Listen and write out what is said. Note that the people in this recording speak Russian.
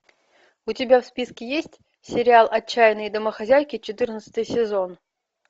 у тебя в списке есть сериал отчаянные домохозяйки четырнадцатый сезон